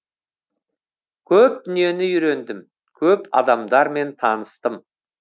көп дүниені үйрендім көп адамдармен таныстым